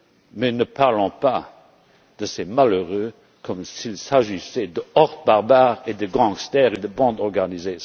Europe. Mais ne parlons pas de ces malheureux comme s'il s'agissait de hordes barbares, de gangsters et de bandes organisées.